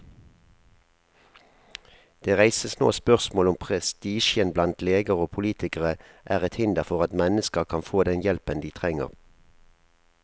Det reises nå spørsmål om prestisjen blant leger og politikere er et hinder for at mennesker kan få den hjelpen de trenger.